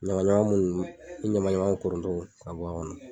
Ɲama ɲama minnu i ɲama ɲama koronto ka bɔ a kɔnɔ